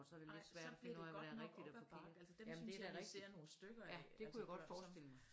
Nej så bliver det godt nok op ad bakke altså dem synes jeg vi producerer nogle stykker af altså